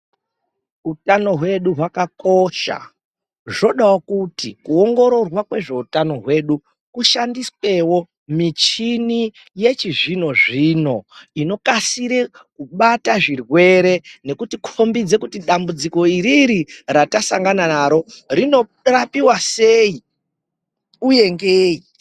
Hutano hwedu hwakakosha zvodawo kuti kuongororwa kwezveutano hwedu kushandiswewo muchini yechizvino zvino inokasire kubata zvirwere nekuti kombidza kutidambudziko iriri ratasangana naro rinorapiwa sei uye ngeyi.